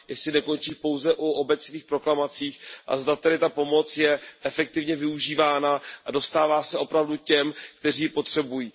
Jestli nekončí pouze u obecných proklamací a zda tedy ta pomoc je efektivně využívána a dostává se opravdu těm, kteří ji potřebují.